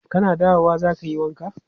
Kana dawowa za ka yi wanka?